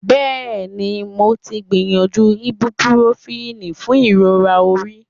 yes, I have tried ibuprofen for headache